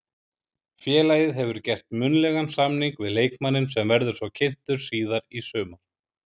Félagið hefur gert munnlegan samning við leikmanninn sem verður svo kynntur síðar í sumar.